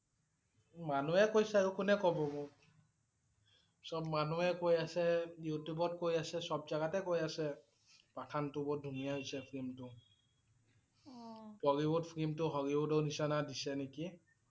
মানুহে কৈছে আৰু কোনে ক'ব মোক? সব মানুহে কৈ আছে, Youtube ত কৈ আছে, সব জাগাতে কৈ আছে Pathan টো বহুত ধুনীয়া হৈছে film টো Bollywood film টো Hollywood ৰ নিছিনা দিছে নেকি?